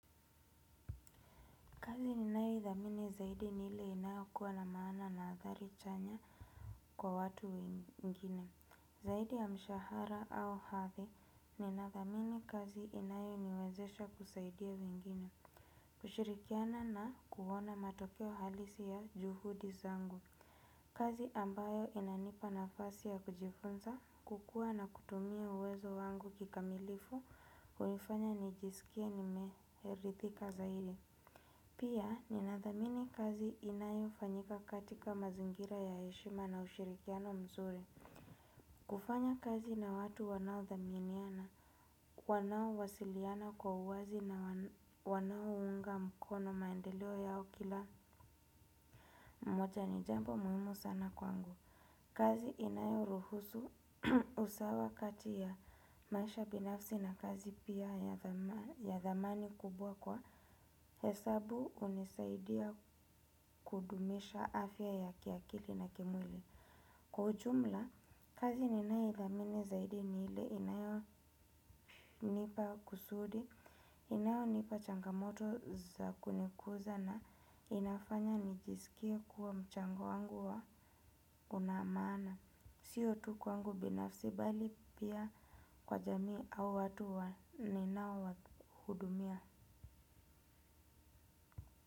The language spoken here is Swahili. Kazi ninayothamini zaidi nile inayokuwa na maana na athari chanya kwa watu wengine. Zaidi ya mshahara au hathi ninathamini kazi inayoniwezesha kusaidia wengine. Kushirikiana na kuona matokeo halisi ya juhudi zangu. Kazi ambayo inanipa nafasi ya kujifunza kukua na kutumia uwezo wangu kikamilifu ulifanya nijisikie nimeherithika zaidi. Pia ninadhamini kazi inayo fanyika katika mazingira ya heshima na ushirikiano mzuri. Kufanya kazi na watu wanao dhaminiana, wanao wasiliana kwa uwazi na wanao unga mkono maendeleo yao kila mmoja ni jambo muhimu sana kwangu. Kazi inayoruhusu usawa kati ya maisha binafsi na kazi pia ya dhamani kubwa kwa hesabu hunisaidia kudumisha afya ya kiakili na kimwili. Kwa ujumla, kazi ninayoidhamini zaidi ni ile inayonipa kusudi, inayonipa changamoto za kunikuza na inafanya nijisikie kuwa mchango wangu wa una maana. Sio tu kwangu binafsi bali pia kwa jamii au watu wa ninaowa hudumia.